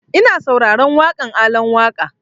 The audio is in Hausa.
Ina sauraren waƙan Alan Waƙa